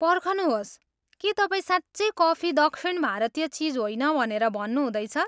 पर्खनुहोस्! के तपाईँ साँच्चै कफी दक्षिण भारतीय चिज होइन भनेर भन्नुहुँदैछ?